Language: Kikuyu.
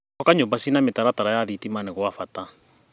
Gwaka nyũmba cina mĩtaratara ya thitima nĩ gwa bata.